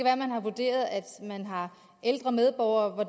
at man har vurderet at man har ældre medborgere